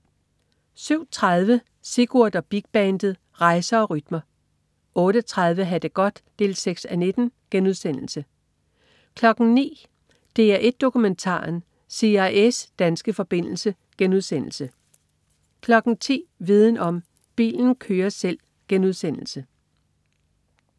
07.30 Sigurd og Big Bandet. Rejser og rytmer 08.30 Ha' det godt 6:19* 09.00 DR1 Dokumentaren. CIA's danske forbindelse* 10.00 Viden om: Bilen kører selv*